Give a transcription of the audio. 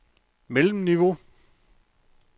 mellemniveau